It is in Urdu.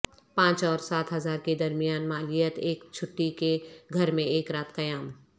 پانچ اور سات ہزار کے درمیان مالیت ایک چھٹی کے گھر میں ایک رات قیام